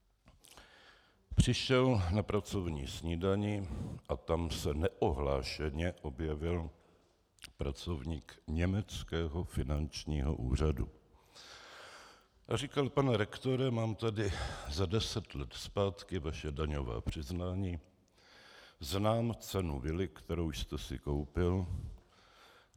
Přišel na pracovní snídani a tam se neohlášeně objevil pracovník německého finančního úřadu a říkal: Pane rektore, mám tady za deset let zpátky vaše daňová přiznání, znám cenu vily, kterou jste si koupil.